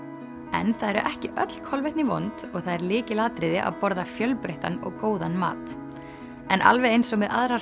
en það eru ekki öll kolvetni vond og það er lykilatriði að borða fjölbreyttan og góðan mat alveg eins og með aðrar